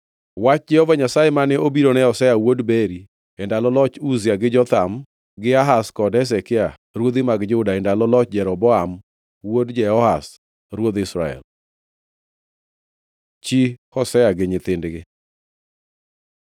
Wach Jehova Nyasaye mane obiro ne Hosea wuod Beeri e ndalo loch Uzia, gi Jotham gi Ahaz kod Hezekia, ruodhi mag Juda, e ndalo loch Jeroboam wuod Jehoash ruodh Israel. Chi Hosea gi nyithindgi